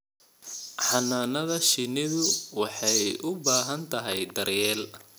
Xannaanada shinnidu waxay u baahan tahay daryeel.